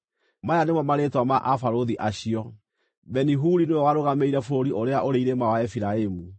Maya nĩmo marĩĩtwa ma abarũthi acio: Beni-Huri nĩwe warũgamĩrĩire bũrũri ũrĩa ũrĩ irĩma wa Efiraimu;